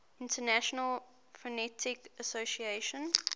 international phonetic association